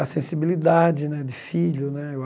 a sensibilidade né de filho né.